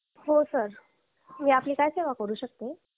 हो सर मी आपली काय सेवा करू शकते